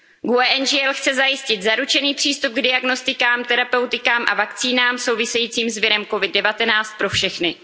výzkum. GUE NGL chce zajistit zaručený přístup k diagnostikám, terapeutikám a vakcínám souvisejícím s virem COVID 19 pro všechny.